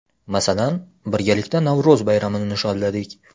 Masalan, birgalikda Navro‘z bayramini nishonladik.